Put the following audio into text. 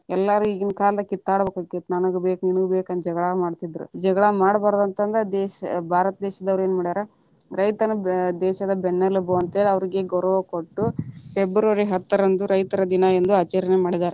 ಎಲ್ಲಾರು ಇಗಿನ ಕಾಲಕ್ಕ ಕಿತ್ತಾಡ ಬೇಕಿತ್ತ ನನಗ ಬೇಕ, ನಿನಗ ಬೇಕಂತ ಜಗಳಾ ಮಾಡ್ತಿದ್ರ, ಜಗಳಾ ಮಾಡಬಾರದ ಅಂತಂದ ದೇಶ ಭಾರತ ದೇಶದವರು ಯೇನ ಮಾಡ್ಯಾರ ರೈತನ ದೇಶದ ಬೆನ್ನೆಲಬು ಅಂತೇಳಿ ಅವ್ರಿಗೆ ಗೌರವ ಕೊಟ್ಟು ಫೆಬ್ರವರಿ ಹತ್ತರಂದು ರೈತರ ದಿನ ಎಂದು ಆಚರಣೆ ಮಾಡಿದಾರೆ.